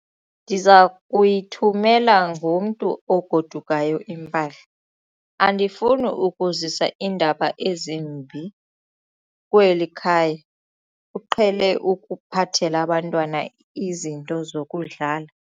Ndiza kuyithumela ngomntu ogodukayo impahla. andifuni ukuzisa iindaba ezimbi kweli khaya, uqhele ukuphathela abantwana izinto zokudlala